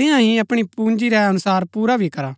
तियां ही अपणी पूंजी रै अनुसार पुरा भी करा